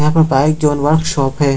यहाँ पर bike zone workshop है।